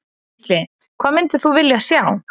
Gísli: Hvað myndir þú vilja sjá?